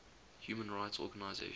human rights organizations